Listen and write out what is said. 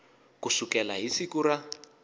ku sukela hi siku ra